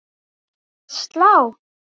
Að slá?